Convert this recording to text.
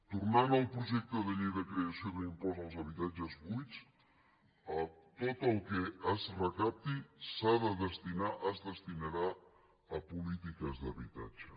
tornant al projecte de llei de creació d’un impost als habitatges buits tot el que es recapti s’ha de destinar es destinarà a polítiques d’habitatge